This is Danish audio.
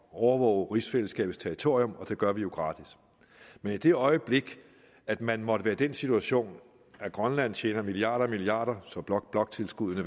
og overvåge rigsfællesskabets territorium og det gør vi jo gratis men i det øjeblik at man måtte være i den situation at grønland tjener milliarder og milliarder så bloktilskuddene